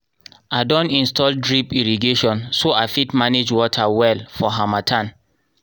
i don install drip irrigation so i fit manage water well for harmattan.